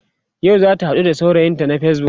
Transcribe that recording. yau zata haɗu da saurayinta na facebook